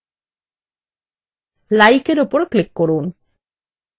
likeএর উপর click করুন